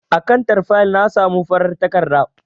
A kantar fayil na samo farar takarda.